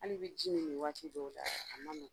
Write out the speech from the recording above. Hali bɛ ji min nin waati dɔw la a ma .